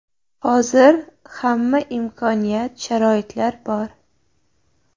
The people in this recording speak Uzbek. Hozir hamma imkoniyat, sharoitlar bor.